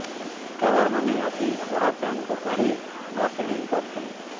ଠିକାଦାରମାନେ ଆସି ପୋଡ଼ା ଫ୍ୟାନ୍କୁ କାଢ଼ି ନୂଆ ସିଲିଂ କରିଥିଲେ